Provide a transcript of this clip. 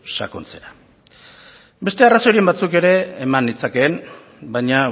sakontzera beste arrazoiren batzuk ere eman nitzakeen baina